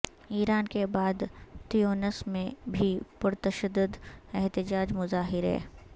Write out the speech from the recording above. ایران کے بعد تیونس میں بھی پرتشدد احتجاج مظاہرے